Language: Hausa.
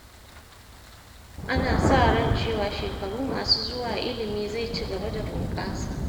Ana sa ran cewa shekaru masu zuwa ilimi zai ci gaba da bunƙasa.